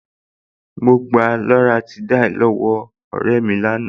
Mo gba loratiday lọ́wọ́ ọ̀rẹ́ mi lánàá